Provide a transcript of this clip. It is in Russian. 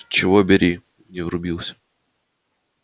чего бери не врубился